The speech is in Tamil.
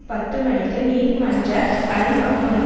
பத்து மணிக்கு நீதிமன்ற அறை மக்மனும்